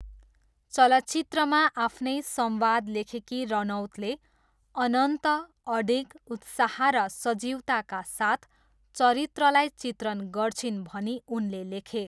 चलचित्रमा आफ्नै संवाद लेखेकी रनौतले अनन्त अडिग उत्साह र सजीवताका साथ चरित्रलाई चित्रण गर्छिन्'' भनी उनले लेखे।